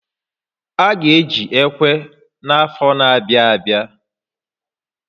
A ga eji ekwe n'afọ n'abịa abịa